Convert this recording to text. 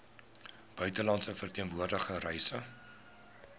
buitelandse verteenwoordiging reise